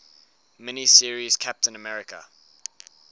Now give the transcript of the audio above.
mini series captain america